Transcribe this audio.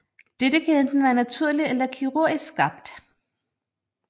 Dette kan enten være naturlig eller kirurgisk skabt